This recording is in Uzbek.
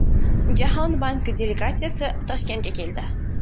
Jahon banki delegatsiyasi Toshkentga keldi.